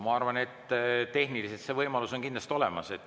Ma arvan, et tehniliselt on see võimalus kindlasti olemas.